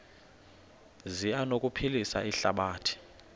zi anokuphilisa ihlabathi